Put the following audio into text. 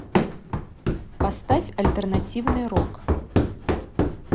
поставь альтернативный рок